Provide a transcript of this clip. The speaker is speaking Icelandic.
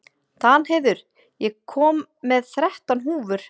Danheiður, ég kom með þrettán húfur!